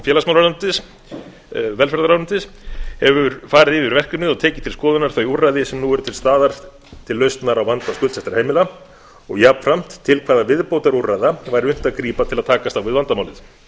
félagsmálaráðuneytis velferðarráðuneytis hefur farið yfir verkefnið og tekið til skoðunar þau úrræði sem nú eru til staðar til lausnar á vanda skuldsettra heimila og jafnframt til hvaða viðbótarúrræða væri unnt að grípa til að takast á við vandamálið